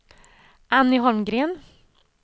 Anny Holmgren